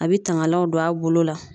A be tangalanw don a bolo la